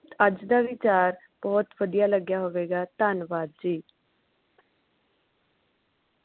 ਅੱਜ ਦਾ ਵਿਚਾਰ ਬੋਹੋਤ ਵਧੀਆ ਲੱਗਿਆ ਹੋਵੇਗਾ ਧੰਨਵਾਦ ਜੀ